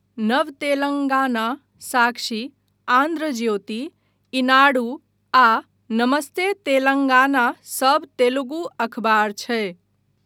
नव तेलंगाना, साक्षी, आन्ध्र ज्योति, ईनाडू आ नमस्ते तेलंगाना सभ तेलुगु अखबार छै।